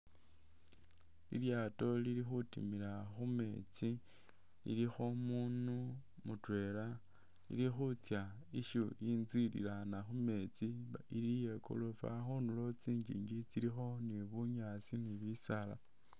Lilyato lili khutimila khumeetsi lilikho umudu mutwela lili khutsa intsu ililana khumetsi iyekorofa tsingingi tsilikho ni bunyasi ni bisaala